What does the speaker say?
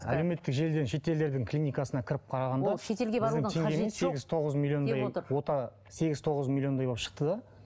әлеуметтік желіден шетелдердің клиникасына кіріп қарағанда ол шетелге барудың қажеті жоқ деп отыр ота сегіз тоғыз миллиондай болып шықты да